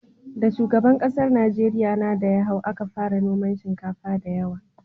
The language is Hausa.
Da shugaban ƙasar Najeriya na da ya hau, a ka fara noman shinkafa da yawa